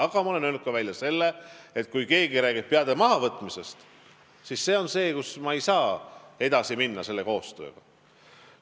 Aga ma olen välja öelnud ka selle, et kui keegi räägib peade mahavõtmisest, siis ma koostööga edasi minna ei saa.